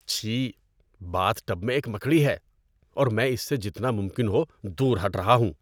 چھی، bath tub میں ایک مکڑی ہے اور میں اس سے جتنا ممکن ہو دور ہٹ رہا ہوں۔